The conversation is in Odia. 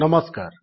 ନମସ୍କାର